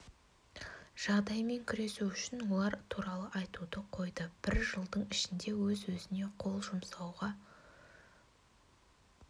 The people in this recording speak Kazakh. жағдаймен күресу үшін олар туралы айтуды қойды бір жылдың ішінде өз-өзіне қол жұмсау пайызға